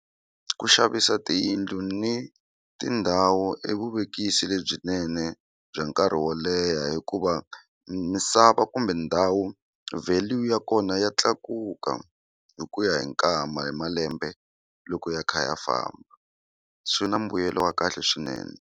Ku xavisa tiyindlu ni tindhawu i vuvekisi lebyinene bya nkarhi wo leha hikuva misava kumbe ndhawu value ya kona ya tlakuka hi ku ya hi nkama hi malembe loko ya kha ya famba swi na mbuyelo wa kahle swinene.